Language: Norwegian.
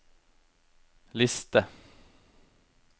liste